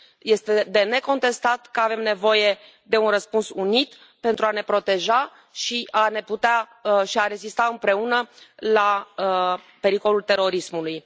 Este de necontestat că avem nevoie de un răspuns unit pentru a ne proteja și a rezista împreună la pericolul terorismului.